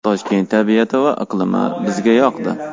Toshkent tabiati va iqlimi bizga yoqdi.